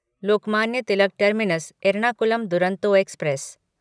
Lokmanya Tilak terminus Ernakulam Duronto express